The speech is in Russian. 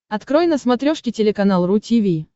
открой на смотрешке телеканал ру ти ви